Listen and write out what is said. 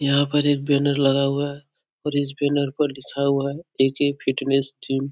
यहाँ पर एक बैनर लगा हुआ है और इस बैनर पर लिखा हुआ है ऐ .के. Fitness gym.